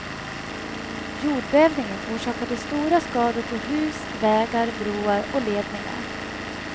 Jordbävningen orsakade stora skador på hus, vägar, broar och ledningar.